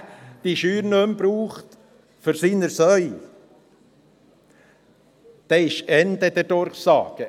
Wenn einer seine Scheuer nicht mehr für seine Schweine braucht, dann ist Ende der Durchsage.